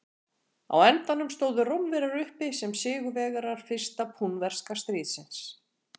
Á endanum stóðu Rómverjar uppi sem sigurvegarar fyrsta púnverska stríðsins.